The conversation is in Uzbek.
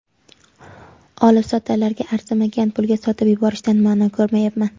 Olibsotarlarga arzimagan pulga sotib yuborishdan ma’no ko‘rmayapman.